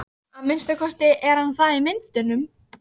Að minnsta kosti er hann það í myndunum.